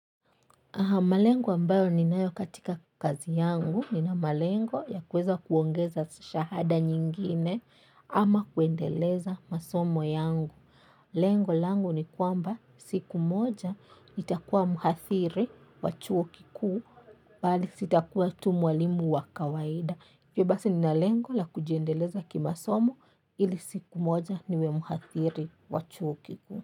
Malengo ambayo ninayo katika kazi yangu, nina malengo ya kuweza kuongeza shahada nyingine ama kuendeleza masomo yangu. Lengo langu ni kuwa siku moja nitakuwa mhadhiri wa chuo kikuu. Bali sitakuwa tu mwalimu wa kawaida. Kwa hivyo basi, nina lengo la kujiendeleza kimasomo ili siku moja niwe mhadhiri wa chuo kikuu.